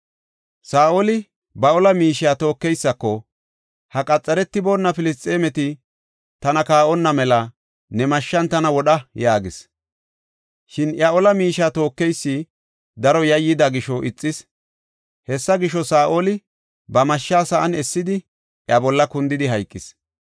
Saa7oli ba ola miishiya tookeysako, “Ha qaxaretiboona Filisxeemeti tana kaa7onna mela ne mashshan tana wodha” yaagis. Shin iya ola miishiya tookeysi daro yayyida gisho ixis; hessa gisho, Saa7oli ba mashsha sa7an essidi iya bolla kundidi hayqis.